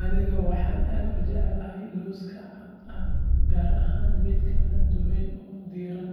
Aniga waxaan aad u jecelahay lawska cadka ah, gaar ahaan midka la dubay oo diiran.